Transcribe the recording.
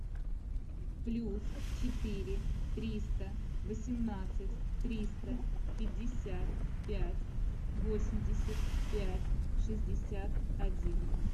плюс четыре триста восемнадцать триста пятьдесят пять восемьдесят пять шестьдесят один